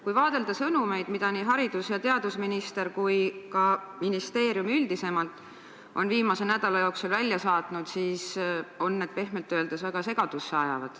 Kui vaadelda sõnumeid, mida nii haridus- ja teadusminister kui ka ministeerium üldisemalt on viimase nädala jooksul välja saatnud, siis pehmelt öeldes ajavad need väga segadusse.